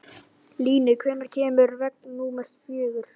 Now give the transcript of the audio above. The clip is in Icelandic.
Líni, hvenær kemur vagn númer fjögur?